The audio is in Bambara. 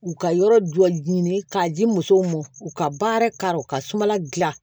U ka yɔrɔ jɔ ɲini k'a di musow ma u ka baara karɔ ka sumala dilan